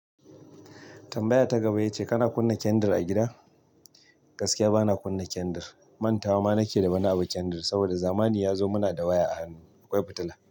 Tamabaya ta gaba yace kana kunna kyandir a gida. Gaskiya bana kunna kendir. Mantawa ma nake da wani abu kendir, saboda zamani ya zo muna da waya a hannu. Akwai fitila.